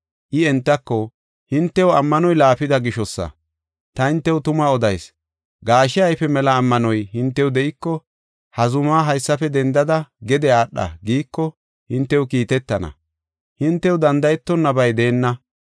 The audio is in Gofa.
I entako, “Hintew ammanoy laafida gishosa. Ta hintew tuma odayis; gaashe ayfe mela ammanoy hintew de7iko ‘Ha zumaa haysafe dendada gede aadha’ giiko hintew kiitetana. Hintew danda7etonabay deenna.